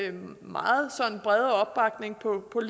af den meget brede opbakning